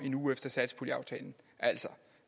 en uge efter satspuljeaftalen